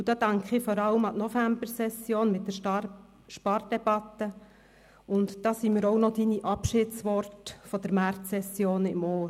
Hier denke ich vor allem an die Novembersession mit der Spardebatte, und ich habe auch noch Ihre Abschiedsworte der Märzsession im Ohr.